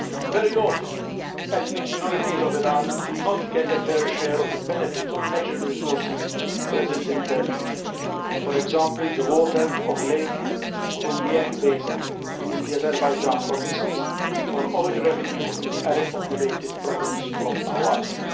Very often, ethnic minorities in Iran do not get a fair share of the benefits of natural resources present in their region, for example the water of the Lake Urmia basin in the Azerbaijan provinces, or oil revenue in the Arab populated province of Ahwaz.